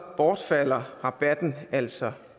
bortfalder rabatten altså